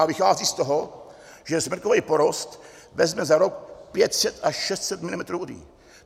A vychází z toho, že smrkový porost vezme za rok 500 až 600 mm vody.